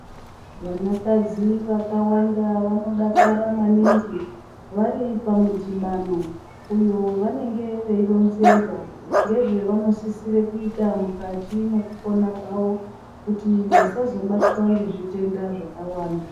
Vanakadzi vakawanda vanodakara maningi vari pamudhibano uyo wavanenge veironzerwa ngezvavanosisirwe kuite mukati mwekupona kwawo kuti vasazobatwa ngezvitenda zvakawanda.